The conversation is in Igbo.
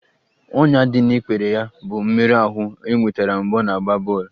Ọnyá ndị dị n'ikpere ya bụ mmerụ ahụ e nwetara mgbe ọ na-agba bọl